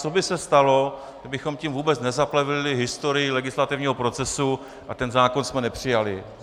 Co by se stalo, kdybychom tím vůbec nezaplevelili historii legislativního procesu a ten zákon jsme nepřijali?